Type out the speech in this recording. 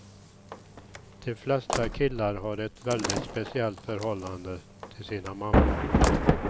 De flesta killar har ett väldigt speciellt förhållande till sina mammor.